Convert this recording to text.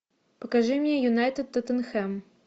покажи мне юнайтед тоттенхэм